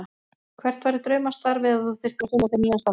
Hvert væri draumastarfið ef þú þyrftir að finna þér nýjan starfa?